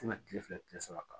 Ti na kile fila kile saba kan